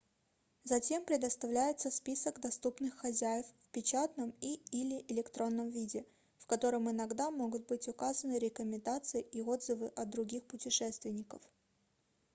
затем предоставляется список доступных хозяев в печатном и/или электронном виде в котором иногда могут быть указаны рекомендации и отзывы от других путешественников